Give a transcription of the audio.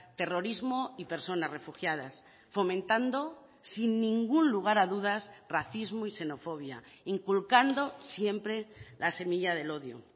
terrorismo y personas refugiadas fomentando sin ningún lugar a dudas racismo y xenofobia inculcando siempre la semilla del odio